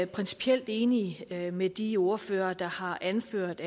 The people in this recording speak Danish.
principielt enig med med de ordførere der har anført